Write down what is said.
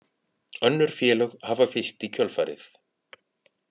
Önnur félög hafa fylgt í kjölfarið